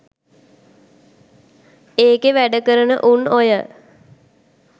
ඒකෙ වැඩ කරන උන් ඔය